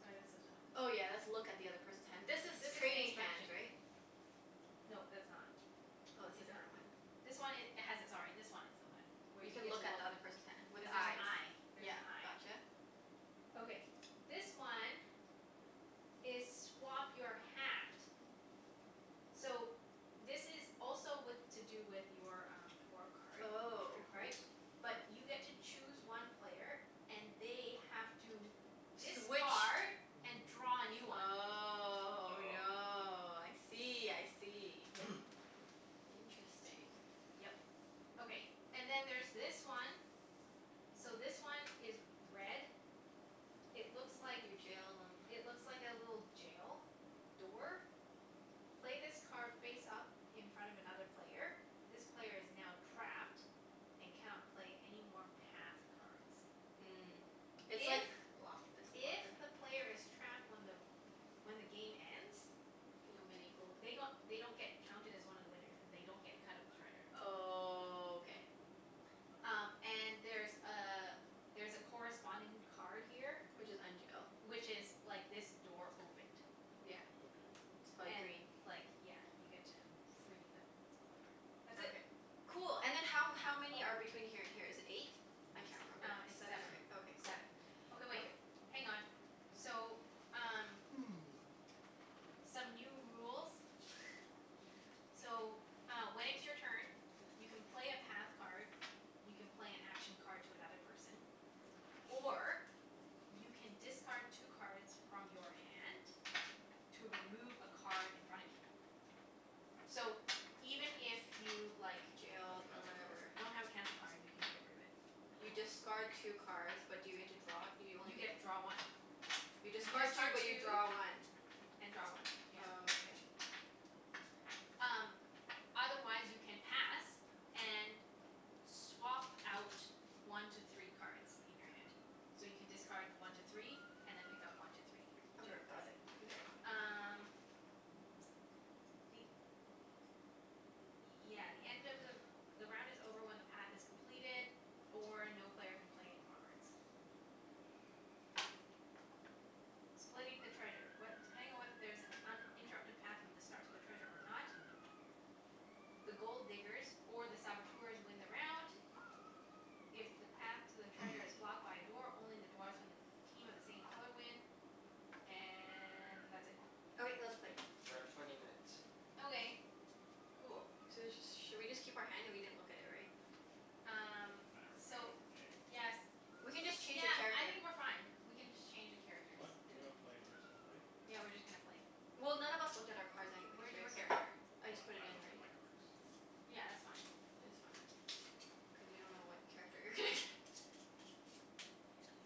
Sorry, that's Oh. this one. Oh yeah, that's look at the other person's hand. This This is is trading inspection. hands, right? No, that's not. Oh, it's a It's not. different one. This one i- has it, sorry, this one is the one. Where You you can get to look at look the other person's hand. With Cuz there's an eyes. eye. There's Yeah, an eye. gotcha. Okay, this one is swap your hat. So, this is also with, to do with your um, dwarf card. Oh. Trade rules? Right? But you get to choose one player and they have to Switch discard and draw a new one. Oh Oh. no. I see, I see. Yeah. Interesting. Yep. Okay. And then there's this one. So, this one is red It looks like You jailed him. It looks like a little jail door. Play this card face up in front of another player. This player is now trapped and cannot play any more path cards. Mm. It's If like block this if blocker. the player is trapped when the when the game ends They don't get any gold. they g- they don't get counted as one of the winners. And they don't get a cut of the treasure. Oh, k. Um, and there's a there's a corresponding card here Which is unjail. which is like this door opened. Yeah. Okay. It's probably And green. like, yeah, you get to free the player. That's it. Okay. Cool. And then how m- how many are Oh. between here and here? Is it eight? I S- can't remember. um, it's Seven or seven. Seven. ei- okay, cool. Seven. Okay wait, Okay. hang on. So, um some new rules. So, uh when it's your turn you can play a path card you can play an action card to another person or you can discard two cards from your hand to remove a card in front of you. So, even if you, like Don't have a Jailed or cancel whatever. card. don't have a cancel card, you can get rid of it. You Oh. discard two cards but do you get to draw it? You only You get get draw one. You You discard two discard but you two draw one. and draw one, yeah. Oh, okay. Um, otherwise you can pass and swap out one to three cards in your hand. So, you can discard one to three and then pick up one to three to Okay, got replace it. it. Mkay. Um the, yeah, the end of the the round is over when the path is completed or no player can play any more cards. Splitting the treasure. What, depending on whether there is an uninterrupted path from the start to the treasure or not the Gold Diggers or the Saboteurs win the round. If the path to the treasure is blocked by a door, only the dwarfs from the team of the same color win. And that's it. Okay. Let's K, play. we're at twenty minutes. Okay. Cool. So let's just Should we just keep our hand? We didn't look at it, right? It Um doesn't matter. We're playing So, open game. yes. Doesn't We can really just matter. change Yeah, the cards I here. think we're fine. We can just change the characters. What? You gonna Okay. play, you're just gonna play? Yeah, we're just gonna play. Well, none of us looked at our cards anyway, Where's your right? So character? I just We- put it I in looked at already. my cards. Yeah, that's fine. Oh, It's fine. okay. Cuz you don't know what character you're gonna get.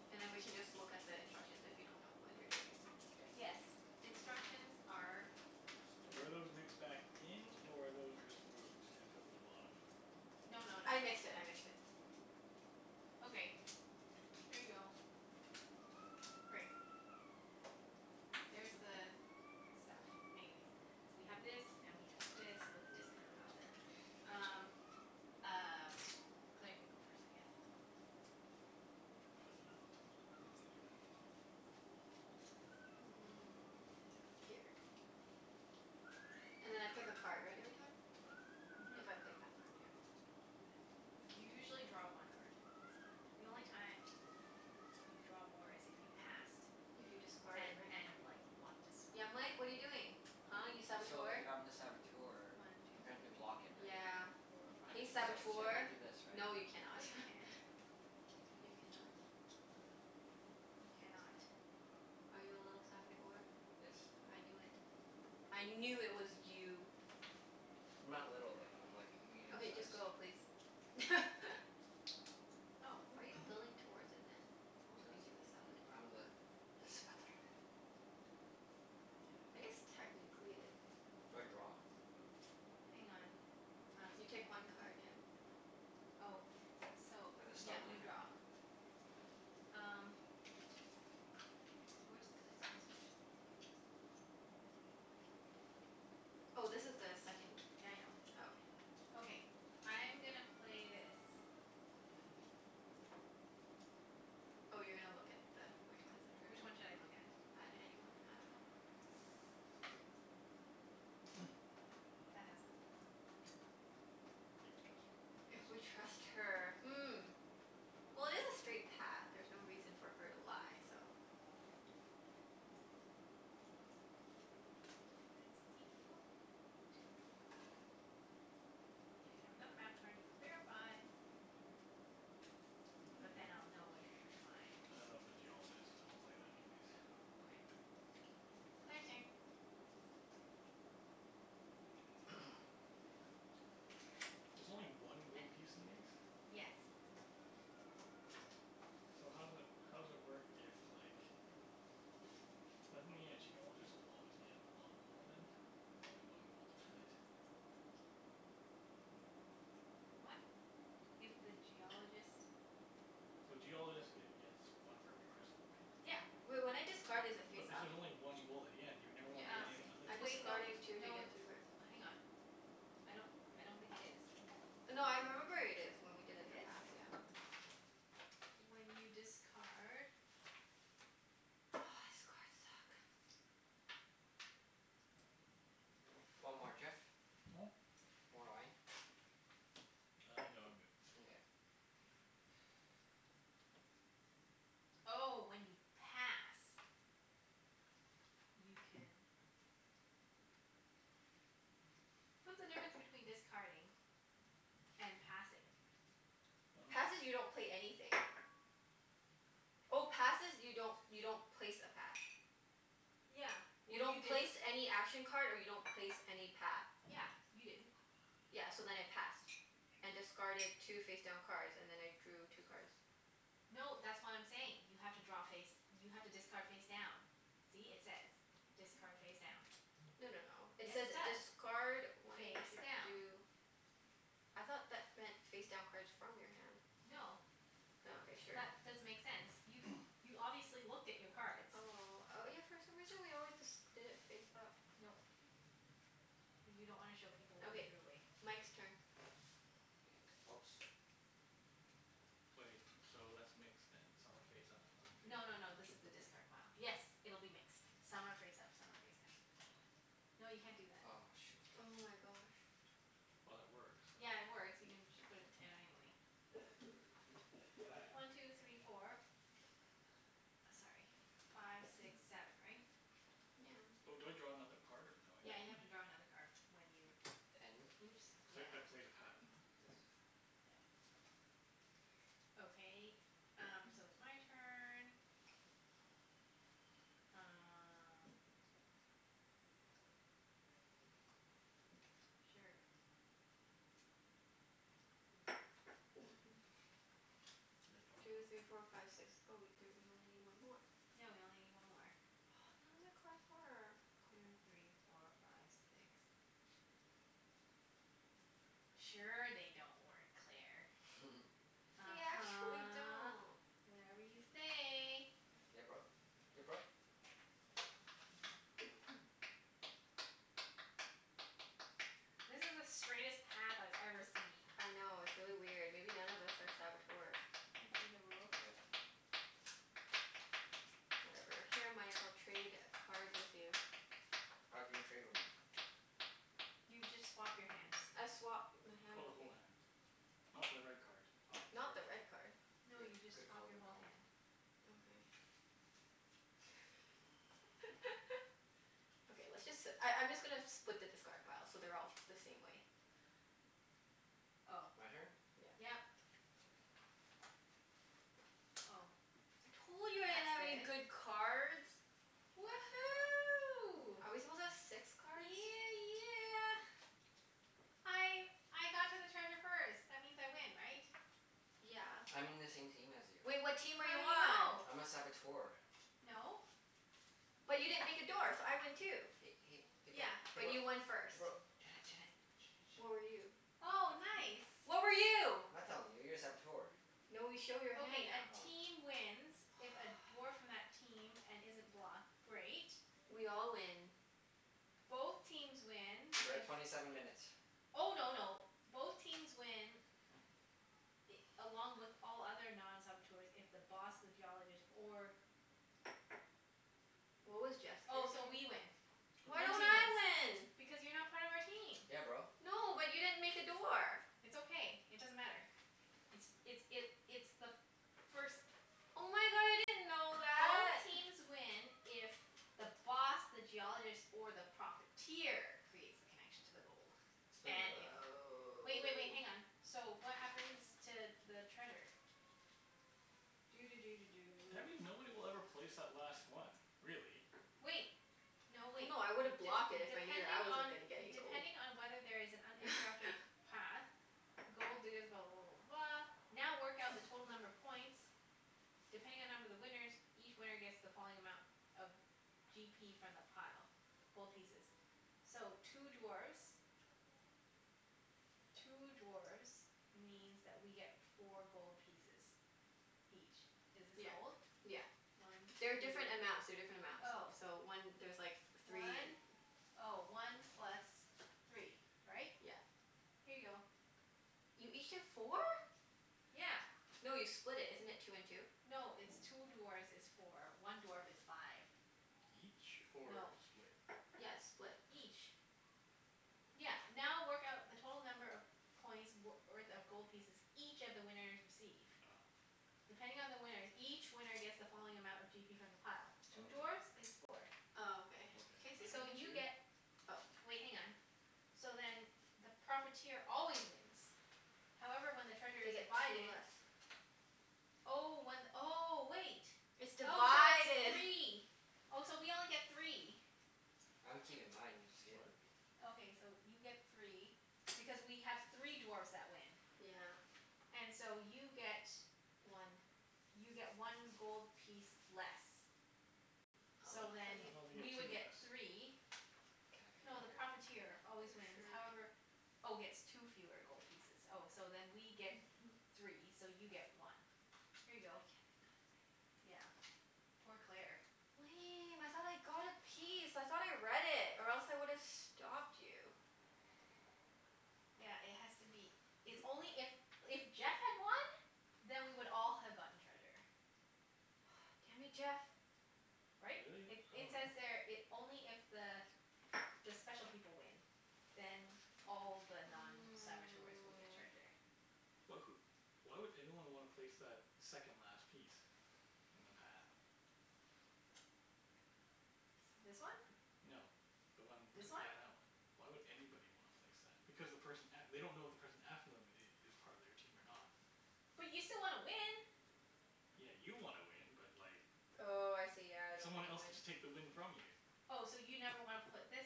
Yeah. And then we can just look at the instructions if you don't know what you're doing. K. Yes. Instructions are here. Were those mixed back in, or those were just removed? And put to the bottom? No no no. I mixed it. I mixed it. Okay. Here you go. Great. There's the stuff. Anyways So we have this, and we have this, with the discard pile there. Um, y- um, Claire can go first I guess. Mm, here. And then I pick a card, right? Every time? Mhm. If I play a path card, yeah. You usually draw one card. The only time y- you draw more is if you passed If you discarded, and right? and like, want to swap. Yeah, Mike? What are you doing? Huh, you I'm, so, Saboteur? if I'm the Saboteur One two I'm trying to block it, three right? Yeah. four I, five Hey six so seven. so I Saboteur! can't do this, right? No, you cannot. No you can't. K. You cannot. You cannot. Are you a little Saboteur? Yes. I knew it. I knew it was you. I'm not little, though. I'm like, a medium Okay, just size. go please. Oh. Why are you building towards it, then? I don't Cuz think he's a Saboteur I'm the le Saboteur. I guess technically Do I draw? Hang on. Um, You can take I see one something? card, yeah. Oh, so, At the yeah, start of my you turn? draw. Um where's the instructions? Here? Oh, this is the second Yeah, I know. Oh, okay. Okay. I'm gonna play this. Oh, you're gonna look at the, which one is the card? Which one should I look at? On any one, I dunno. That has the gold. If we trust her. If we trust her. Hmm. Well, it is a straight path. There's no reason for her to lie, so It has the gold. If you have another map card you can verify. But then Mm. I'll know whether you're lying. I don't know if the Geologist, but I'll play that anyways. Okay. Claire's turn. There's only I I one gold piece in these? Yes. So how does it, how does it work if like Doesn't it mean a Geologist will always get lot more then? If you only have one gold to split? What? If the Geologist So Geologist get gets one for every crystal, right? Yeah. Wait, when I discard is it But face this up? is only one gold at the end. You'd never Yeah, wanna be Uh, it anything is other so I'm than the wait. No discarding Geologist. two to no, get it's two cards. Hang on. I don't I don't think it is. No, I remember it is, when we It did in the is? past. Yeah. When you discard Oh, this cards suck. Do you want more, Jeff? Hmm? More wine? Uh, no, I'm good. Nkay. Oh, when you pass. You can What's the difference between discarding and passing? I dunno. Passing, you don't pay anything. Oh, passes you don't, you don't place a path. Yeah. You Well, you don't place didn't any action card and you don't place any path. Yeah. You didn't. Yeah, so then I passed. And discarded two face down cards, and then I drew two cards. No, that's what I'm saying. You have to draw face, you have to discard face down. See? It says, "Discard face down." No no no, it Yes, says it does. discard when Face to down. do I thought that meant face down cards from your hand. No. Oh, okay. Sure. That doesn't make sense. You you obviously looked at your cards. Oh, oh yeah for some reason we always disc- did it face up. Nope. Cuz you don't wanna show people what you Okay, threw away. Mike's turn. Oops. Wait, so that's mixed then. Some are face up, some of them No no no, are face down. this is the discard pile. Yes, it'll be mixed. Some are face up, some are face down. Oh. No, you can't do that. Aw, shoot. Oh my gosh. Well, it works, so Yeah, it works. You can just put it down anyway. One two three four. Sorry, five six seven, right? Yeah. Oh, do I draw another card, or no, Yeah, I you have to don't? draw another card when you And Oops, yeah. Cuz I I played a path. This. Yep. Okay, um, so it's my turn. Um Sure. I draw Two three four another five six. Oh wait, there, you only need one more. Yeah, we only need one more. None of my cards work. Two three four five six. Sure they don't work, Claire. They actually uh-huh. don't. Whatever you say. Yeah, bro. Ya bro? This is the straightest path I've ever seen. I know, it's really weird. Maybe none of us are Saboteurs. Can I see the rules? Oh yeah. Whatever. Here Mike, I'll trade a cards with you. How can you trade with me? You just swap your hands. I swap my hand Oh, the with whole you. hand. Not the red card. Oh, Not the sorry. red card. No, Good you just good swap call. your Good whole call. hand. Okay. Okay, let's just si- I I'm just gonna split the discard pile so they're all the same way. Oh. My turn? Yeah. Yep. Oh. Told you I didn't have any That's good. good cards. Woohoo. Are we supposed to have six cards? Yeah yeah! I I got to the treasure first. That means I win, right? Yeah. I'm in the same team as you. Well, what team are you How do you on? know? I'm a Saboteur. No. But you didn't make a door, so I win Hey too. hey hey bro Yeah. hey But bro you won first. hey bro Junette Junette Junette What were you? Junette Oh, nice. What were you? I'm not telling you. You're a Saboteur. No, we show your hand Okay, a now. Oh. team wins if a dwarf from that team, and isn't blocked Great. We all win. Both teams win We're at if twenty seven minutes. Oh no no, both teams win i- along with all other non-saboteurs if the Boss, the Geologist, or What was Jeff's Oh, character? so we win. Why Blue don't team wins. I win? Because you're not part of our team. Yeah, bro. No, but you didn't make a door. It's okay. It doesn't matter. It's it's it it's the first Oh my god, I didn't know Both that! teams win if the Boss, the Geologist, or the Profiteer creates the connection to the gold. Let's play And another if, round. wait wait wait, hang on. Oh. So, what happens to the treasure? Doo doo doo doo Do I doo. mean nobody will ever place that last one, really. Wait! No, No wait. no, I D- woulda blocked it if I knew that I depending wasn't on gonna get any gold. depending on whether there is an uninterrupted path, the gold diggers blah blah blah blah blah now work out the total number of points depending on number of the winners each winner gets the following amount of g p from the pile. Gold pieces. So, two dwarfs two dwarfs means that we get four gold pieces. Each. Is this Yeah. gold? Yeah. One two They're different amounts. They're different amounts. Oh. So one, there's like three and One, oh, one plus three. Right? Yeah. Here you go. You each get four? Yeah. No, you split it. Isn't it two and two? No, it's two dwarfs is four. One dwarf is five. Each? Or No. split? Yeah, it's split. Each. Yeah, now work out the total number of points w- worth of gold pieces each of the winners receive. Oh. Depending on the winners, each winner gets the following amount of g p from the pile. Oh Two okay. dwarfs is four. Oh, okay. Can Okay, I see and I So something? get you two? get Oh. Wait, hang on. So then the Profiteer always wins. However, when the treasure They is get two divided. less. Oh, one, oh, wait. It's Oh, so it's divided. three. Oh, so we only get three. I'm keeping mine. You just gave them What? to me. Okay, so you get three. Because we have three dwarfs that win. Yeah. And so you get One. you get one gold piece less. What? So Oh, how do then, I thought they get we you two would get get t- less. three Can I No, the What? cut your hair, Profiteer Claire? always wins, Sure. however Oh, gets two fewer gold pieces Oh, so then we get three, so you get one. Here you I get go. nothing. Yeah. Poor Claire. Lame, I thought I got a piece. I thought I read it. Or else I would've stopped you. Yeah, it has to be, it's only if, if Jeff had won then we would all have gotten treasure. Ah, damn it, Jeff! Right? Really? It I it says dunno. there it, only if the the special people win then all the non-saboteurs will get Mm. treasure. But wh- why would anyone wanna place that second last piece? In the path? This one? No. The one t- This one? yeah, that one. Why would anybody wanna place that? Because the person a- they don't know if the person after them i- is part of their team or not. But you still wanna win. Yeah, you wanna win, but like Oh, I see. Yeah. I don't get someone to else could win. just take the win from you. Oh, so you never wanna put this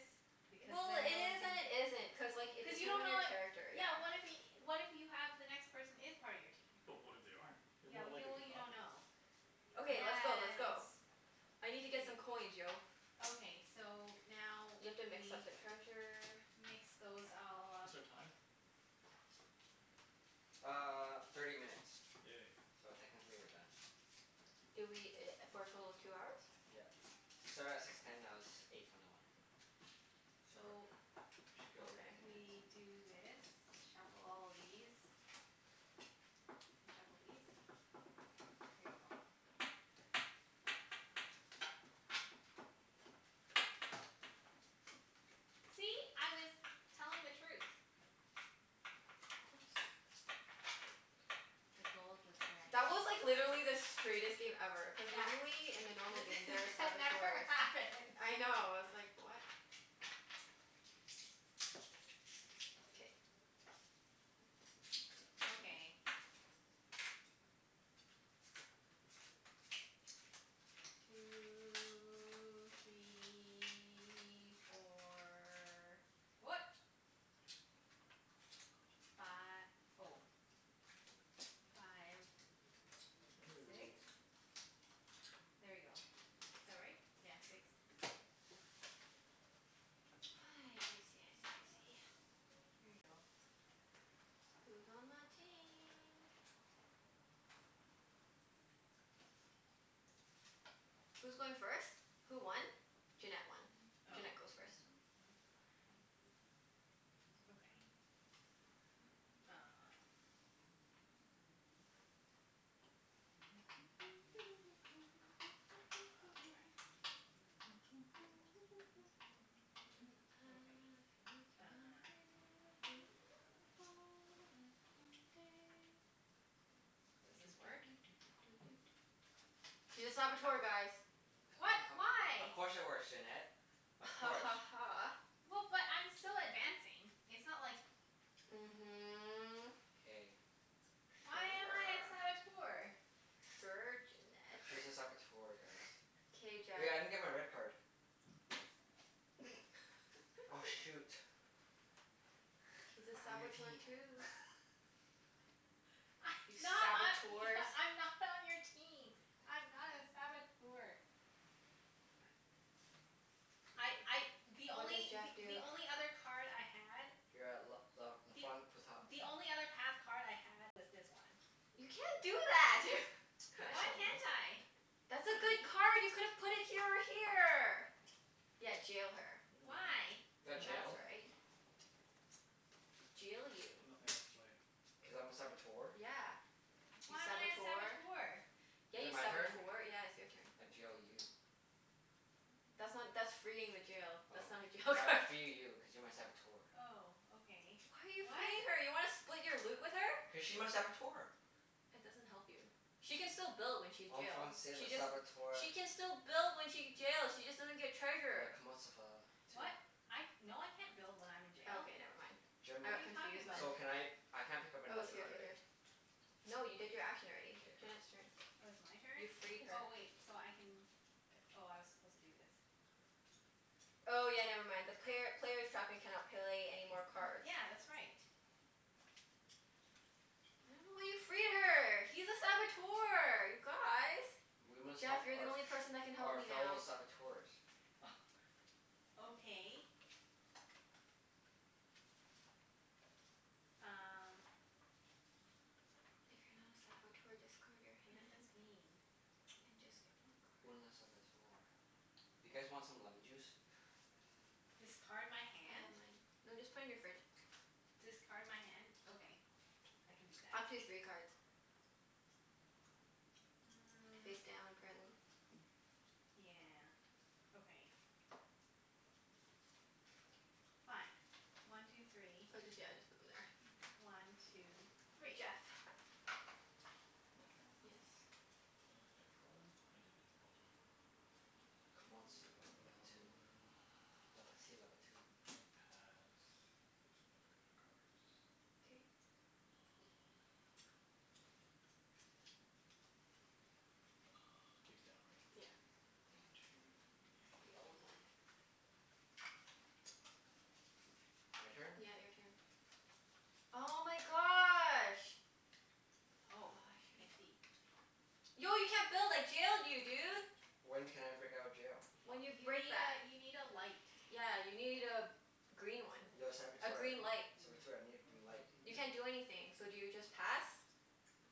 because Well, then it no one is can and it isn't. Cuz like, it Cuz you depends don't on know your what character, Yeah, yeah. what if y- what if you have the next person is part of your team? But what if they aren't? They're Yeah, more well y- likely well to you not don't be. know. Okay, let's go. Let's Yes. go. I need to get some Wait. coins, yo. Okay. So, now You we have to mix up the treasure. mix those all up. What's our time? Uh, thirty minutes. Yay. So technically we're done. Did we i- for a total of two hours? Yeah. We started at six ten, now it's eight twenty one. So So, we should be over Okay. ten minutes. we do this. Shuffle all of these. And shuffle these. Here you go. See? I was telling the truth. Of course. The gold was That was like, literally the straightest game ever. Cuz Yeah. normally, in the normal game This there are that never Saboteurs. happens. I know. I was like, what? K. Okay. Two three four. What? Fi- oh. Five. Bending the Six? rules. There you go. Is that right? Yeah, six. I see, I see, I see. Here you go. Who's on my team? Who's going first? Who won? Junette won. Oh. Junette goes first. Okay. Um Oh, rats. I've Okay, been uh working on the railroad, all the live long day. Doo Does doo this doo work? doo doo doo doo doo. She's a Saboteur, guys. H- we What? h- of Why? course it works, Junette. Of Ha course. ha ha. Well, but I'm still advancing. It's not like Mhm. K. Why am I a Sure. Saboteur? Sure, Junette. She's a Saboteur, guys. K, Jeff. Hey, I didn't get my red card. Oh. Oh shoot. He's a I'm on your Saboteur team. too. I You not I Saboteurs. e- I'm not on your team. I'm not a Saboteur. This I is I, really the confusing. What did only Jeff th- the do? only other card I had You're at l- l- la Th- front potat. the only other path card I had was this one. You can't do that! You can't Why show me. can't I? That's a See? good card! You could have put it here or here! Yeah, jail her. Mm. Why? I You got That's jailed. dunno. right. Jail you. I've nothing else to play. Cuz I'm a Saboteur. Yeah. You Why am I a Saboteur. Saboteur? Yeah, Is it you my turn? Saboteur. Yeah, it's your turn. I jail you. That's not, that's freeing the jail. Oh. That's not a jail All right, I card. free you cuz you're my Saboteur. Oh, okay. Why are you What? freeing her? You wanna split your loot with her? Cuz she's my Saboteur. That doesn't help you. She can still build when she's En jail. Français, le She just Saboteur. She can still build when she get jail she just doesn't get Le treasure. comment ça va tu? What? I, no I can't build when I'm in jail. Okay, never mind. I Jim What are got you talking confused there. so about? can I I can't pick up I was another here card, here right? here. No, you did your action already. K. Junette's turn. Oh, it's my You turn? freed her. Oh, wait, so I can p- oh, I was supposed to do this. Oh yeah, never mind. The player player's trapped and cannot play any more cards. Yeah, that's right. I don't know why you free her. He's a Saboteur, you guys! We must help Jeff, you're the our only person that can f- help our me fellow now. Saboteurs. Oh, okay. Um If you're not a Saboteur, discard your What does this hand. mean? And just get more Une a cards. Saboteur. You guys want some lemon juice? K. Discard my I have hand? mine. No, just put in your fridge. Discard my hand? Okay. I can do that. Up to three cards. Mm. Face down, apparently. Yeah, okay. Fine. One two three. Oh just, yeah, just put them there. One two three. Jeff. My turn? Yes. Uh, did I draw one? I did. On. Comment ça va la patou. Uh La patit la patou. I'm gonna pass. Just getting rid of cards. K. Um, hmm. Uh, face down, right? Yeah. One two It's the three. old one. This one? My turn? Yeah, your turn. Oh my gosh. Oh, Oh, I I should've see. Yo, you can't build! I jailed you, dude! When can I break out of jail? When you You break need that. a, you need a light. Yeah, you need a green one. Yo A Saboteur, green light. Saboteur, I need a green light. You can't do anything. So do you just pass?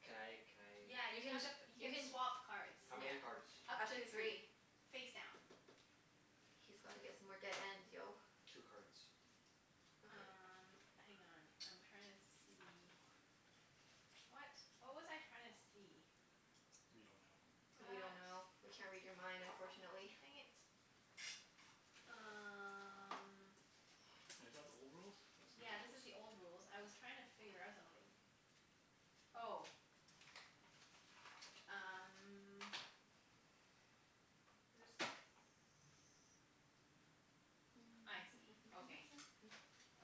Can I can I Yeah, You you can, have to p- you you can can swap cards. How Yeah. many cards? Up Up to to three. three. Face down. He's gotta get some more dead ends, yo. Two cards. Okay. Um, hang on. I'm trying to see What? What was I trying to see? We don't know. We What? don't know. We can't read your mind, unfortunately. Dang it. Um Wait, is that the old rules? That's new Yeah, this is rules. the old rules. I was trying to figure out something. Oh. Um This, I see. Okay.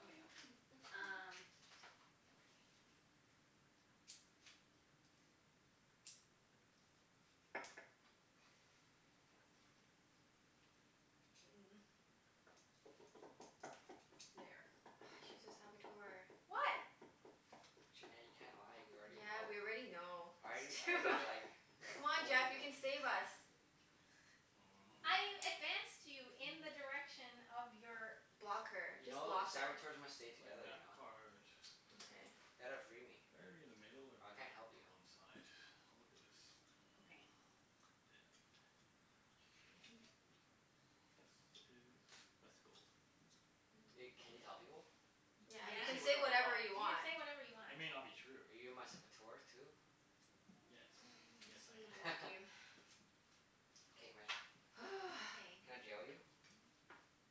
Okay, okay. Um Okay. Mm. There. Ah, she's a Saboteur. What? Junette, you can't lie. We already Yeah, know. we already know. I It's too I do Wha- like, like Come on told Jeff, you people. can save us. I Mm. advanced you in the direction of your Block her. You Just know, block her. Saboteurs must stay I play a together, you map know? card. Okay. Ya gotta free me. Better to be in the middle or I better can't to be help on you. the one side? I'll look at this. Mm. Okay. It This is, that's the gold. Wait, can you tell people? Y- Yeah, I you yeah. can You can say can say say whatever whatever I you want. want. whatever you want. It may not be true. Are you my Saboteur too? Yes. Yes, Guess I'm gonna I am. block you. K, my turn. Okay. Can I jail you?